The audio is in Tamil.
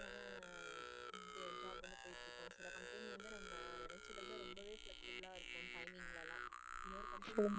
ஒரு சில company வந்து நம்ம சிலது ரொம்பவே flexable இருக்கும் timing லாம் இன்னொரு company ல.